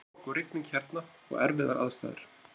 Það er rok og rigning hérna og erfiðar aðstæður.